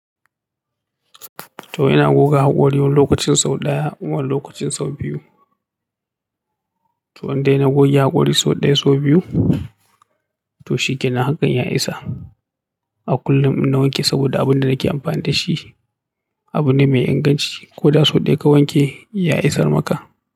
To ina goga haƙori wani lokacin sau ɗaya wani lokacin sau biyu. To indai na goge hakuri sau daya sau biyu, to shi kenan hakan ya isa. A kullum in na wanke saboda abin da nake amfani da shi abu ne mai inganci. Ko da sau ɗaya ka wanke ya isar maka.